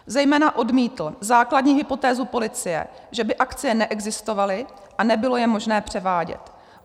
Zejména odmítl základní hypotézu policie, že by akcie neexistovaly a nebylo je možné převádět.